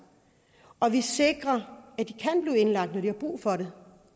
og at vi sikrer at de kan blive indlagt når de har brug for det